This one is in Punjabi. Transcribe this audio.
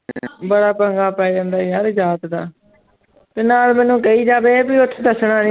ਬੜਾ ਪੰਗਾ ਪੈ ਜਾਂਦਾ ਯਾਰ ਜਾਤ ਦਾ ਤੇ ਨਾਲੇ ਮੈਨੂੰ ਕਹੀ ਜਾਵੇ ਵੀ ਉੱਥੇ ਦੱਸਣਾ ਨੀ।